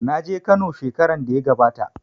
Na je Kano shekaran da ya gabata.